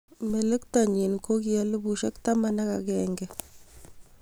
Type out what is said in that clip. Melektonyi kokielipusiek taman ak agenge